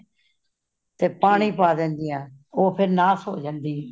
ਤੇ ਪਾਨੀ ਪਾ ਦੇਂਦੀਆਂ ਨੇ ਉਹ ਫੇਰ ਨਾਸ ਹੋ ਜਾਂਦੀ ਹੈ